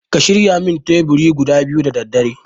Ka shirya min teburi guda biyu da daddare